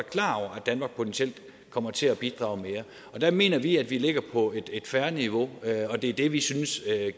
danmark potentielt kommer til at bidrage mere og der mener vi at vi ligger på et fair niveau og det er det vi synes